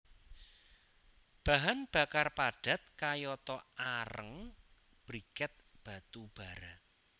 Bahan bakar padat kayata areng briket batu bara